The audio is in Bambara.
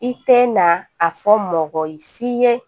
I tɛ na a fɔ mɔgɔ ye si ye